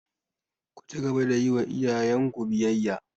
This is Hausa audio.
Ku cigaba da yi wa iyayenku biyayya!